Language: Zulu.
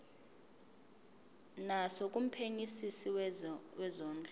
naso kumphenyisisi wezondlo